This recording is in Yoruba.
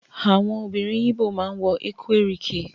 Àwọn obìnrin igbó ma ń wọ Ekwerike